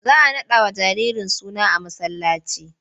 Za a raɗawa jaririn suna a masallaci.